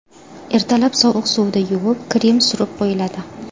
Ertalab sovuq suvda yuvib, krem surib qo‘yiladi.